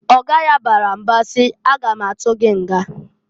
Oga ya bara mba si, "A ga ma atụ gị nga!"